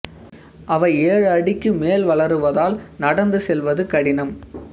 அவை ஏழு அடிக்கு மேல் வளருவதால் நடந்து செல்வது கடினம்